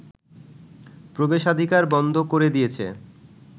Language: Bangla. প্রবেশাধিকার বন্ধ করে দিয়েছে